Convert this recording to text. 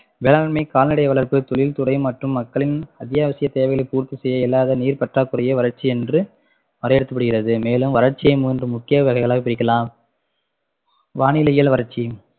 வேளாண்மை கால்நடை வளர்ப்பு தொழில்துறை மற்றும் மக்களின் அத்தியாவசிய தேவைகளை பூர்த்தி செய்ய இல்லாத நீர் பற்றாக்குறையே வறட்சி என்று வரையறுக்கப்படுகிறது மேலும் வறட்சியை மூன்று முக்கிய வகைகளாய் பிரிக்கலாம் வானிலையியல் வறட்சி